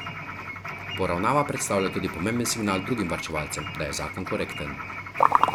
Poravnava predstavlja tudi pomemben signal drugim varčevalcem, da je zakon korekten.